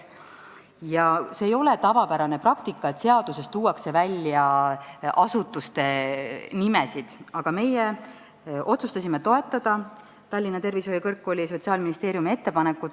See ei ole tavapärane praktika, et seaduses tuuakse välja asutuste nimetused, aga meie otsustasime toetada Tallinna Tervishoiu Kõrgkooli ja Sotsiaalministeeriumi ettepanekut.